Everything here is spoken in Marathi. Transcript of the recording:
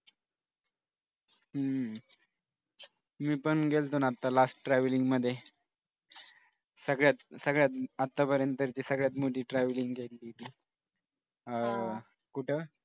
हम्म मी पण गेलो होतो ना आत्ता last travelling मध्ये सगळ्यात सगळ्यात आतापर्यंत सगळ्यात मोठी travelling आहे ती कुठं